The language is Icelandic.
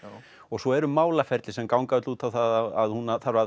svo eru málaferli sem ganga öll út á það að hún þarf að